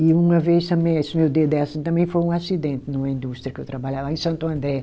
E uma vez também, esse meu dedo é assim, também foi um acidente numa indústria que eu trabalhava lá em Santo André.